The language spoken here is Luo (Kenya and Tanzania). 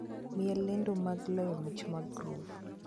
Miya lendo mag loyo mich mag groove